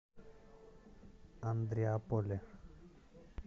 андреаполе